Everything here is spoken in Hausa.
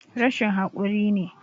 Rashin hakuri ne